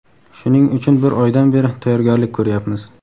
Shuning uchun bir oydan beri tayyorgarlik ko‘ryapmiz.